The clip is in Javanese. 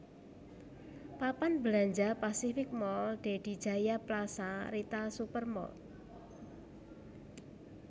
Papan belanja Pacific Mall Dedy Jaya Plaza Rita Super Mall